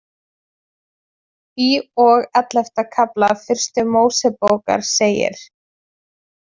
Í og ellefta kafla Fyrstu Mósebókar segir